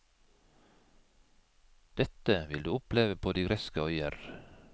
Dette vil du oppleve på de greske øyer.